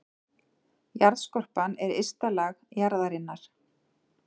Jarðskorpan er ysta lag jarðarinnar.